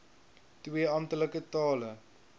twee amptelike tale